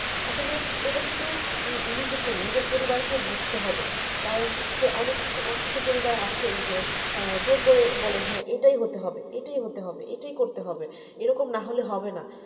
আসলে এটা শুধু নিজেকে না নিজের পরিবারকে বুজতে হবে কারণ হচ্ছে অনেক কিছু কিছু পরিবার আছে যে জোর করে বলে যে হ্যাঁ এটাই হতে হবে এটাই হতে হবে এটাই করতে হবে এরকম না হলে হবে না